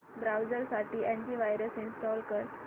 browser साठी antivirus install कर